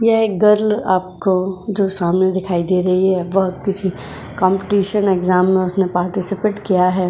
यह एक गर्ल आपको जो सामने दिखाई दे रही है। वह किसी काम्पिटिशन इग्ज़ैम में उसने पार्टिसपैट किया है।